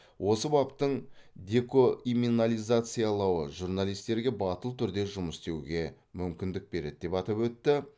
осы баптың декоиминализациялауы журналистерге батыл түрде жұмыс істеуге мүмкіндік береді деп атап өтті